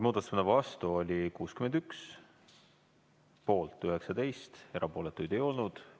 Muudatusettepaneku vastu oli 61, poolt 19, erapooletuid ei olnud.